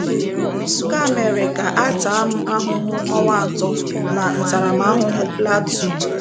Nke a mere ka a taa m ahụhụ ọnwa atọ na ntaramahụhụ platuun.